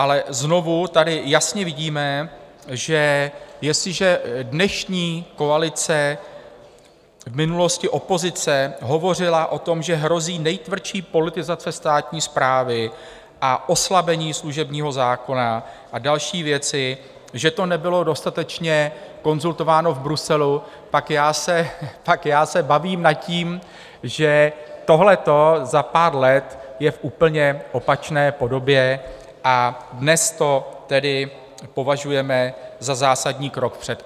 Ale znovu tady jasně vidíme, že jestliže dnešní koalice, v minulosti opozice, hovořila o tom, že hrozí nejtvrdší politizace státní správy a oslabení služebního zákona a další věci, že to nebylo dostatečně konzultováno v Bruselu, tak já se bavím nad tím, že tohleto za pár let je v úplně opačné podobě a dnes to tedy považujeme za zásadní krok vpřed.